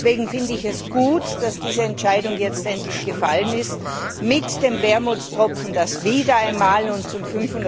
Deswegen finde ich es gut, dass diese Entscheidung jetzt endlich gefallen ist, mit dem Wermutstropfen, dass Großbritannien wieder einmal zum